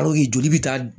joli bɛ taa